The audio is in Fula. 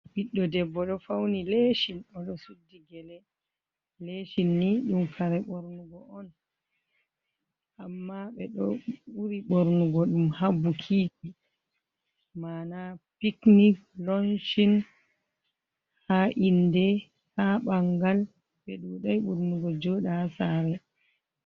Ɓiɗdo debbo ɗo fauni lesin oɗo suddi gele, lesin ni ɗum kare ɓornugo on amma ɓeɗo ɓuri ɓornugo ɗum ha bikiji mana pikni, lonchin, ha inde, ha bangal ɓe ɗuɗai ɓurnugo joɗa ha sare.